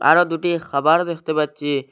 আরো দুটি খাবার দেখতে পাচ্চি।